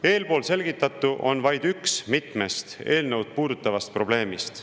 Eespool selgitatu on vaid üks mitmest eelnõu puudutavast probleemist.